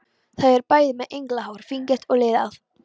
Þau eru bæði með englahár, fíngert og liðað.